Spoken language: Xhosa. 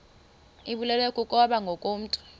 ibulewe kukopha ngokomntu